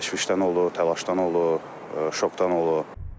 Təşvişdən olur, təlaşdan olur, şokdan olur.